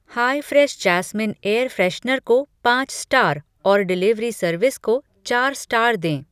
हाय fresh jasmine air freshener को पाँच star और डिलीवरी सर्विस को चार स्टार दें।